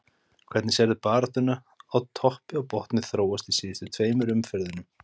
Hvernig sérðu baráttuna á toppi og botni þróast í síðustu tveimur umferðunum?